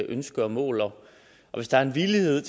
ønske og mål og hvis der er en villighed